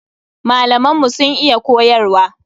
Malaman mu sun iya koyarwa.